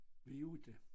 Vi 8